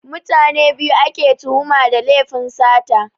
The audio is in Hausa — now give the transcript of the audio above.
Mutane biyu ake tuhuma da lefin sata